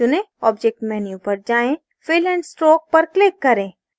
object menu पर जाएँ fill and stroke पर click करें